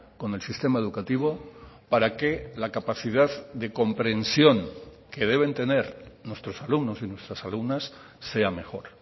con el sistema educativo para que la capacidad de comprensión que deben tener nuestros alumnos y nuestras alumnas sea mejor